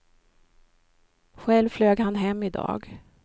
Själv flög han hem i dag.